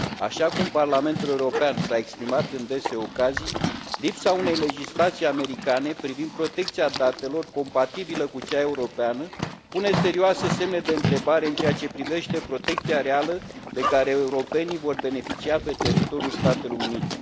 Așa cum Parlamentul European s a exprimat în dese ocazii, lipsa unei legislații americane privind protecția datelor, compatibilă cu cea europeană, pune serioase semne de întrebare în ceea ce privește protecția reală de care europenii vor beneficia pe teritoriul Statelor Unite.